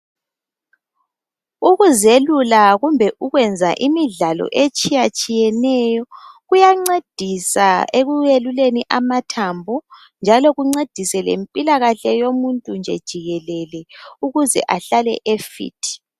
Ukuzelula kumbe ukwenza imidlalo etshiyatshiyeneyo kuyancedisa ekuyeluleni amathambo njalo kuncedise lempilakahle yomuntu nje jikelele, ukuze ahlale efit.